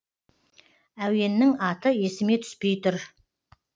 әуеннің аты есіме түспей тұр